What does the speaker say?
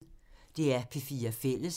DR P4 Fælles